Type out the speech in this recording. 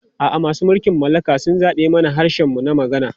A'a, masu mulkin mallaka sun zaɓe mana harshen mu na hukuma.